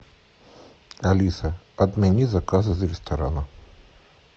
алиса отмени заказ из ресторана